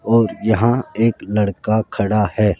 और यहां एक लड़का खड़ा है।